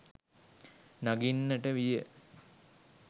නඟින්නට විය.